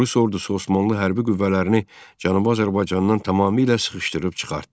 Rus ordusu Osmanlı hərbi qüvvələrini Cənubi Azərbaycandan tamamilə sıxışdırıb çıxartdı.